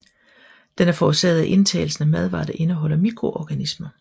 Den er forårsaget af indtagelsen af madvarer der indeholder mikroorganismer